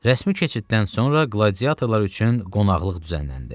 Rəsmi keçiddən sonra qladiatorlar üçün qonaqlıq düzənləndi.